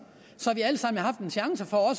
så vi alle sammen havde haft en chance for